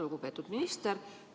Lugupeetud minister!